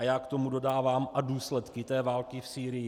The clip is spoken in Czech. A já k tomu dodávám: a důsledky té války v Sýrii.